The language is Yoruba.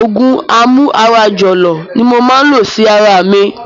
Òògùn amú ara jọ̀lọ̀ ni mo ma lò sí ara mi